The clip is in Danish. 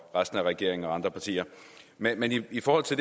resten af regeringen og andre partier men i forhold til